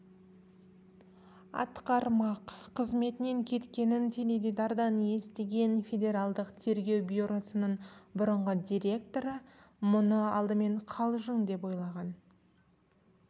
атқармақ қызметінен кеткенін теледидардан естіген федеральдық тергеу бюросының бұрынғы директоры мұны алдымен қалжың деп ойлаған